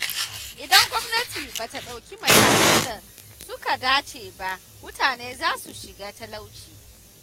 Idan gwamnati ba ta ɗauki matakan da suka dace ba mutane za su shiga talauci.